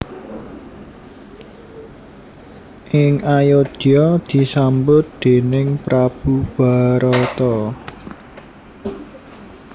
Ing Ayodya disambut déning prabu Barata